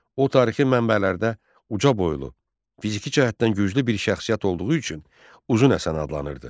O tarixi mənbələrdə ucaboylu, fiziki cəhətdən güclü bir şəxsiyyət olduğu üçün Uzun Həsən adlanırdı.